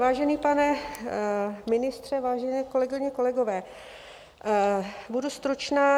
Vážený pane ministře, vážené kolegyně, kolegové, budu stručná.